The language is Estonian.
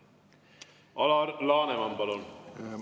Alar Laneman, palun!